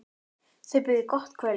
Þau buðu gott kvöld.